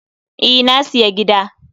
E, na siya gida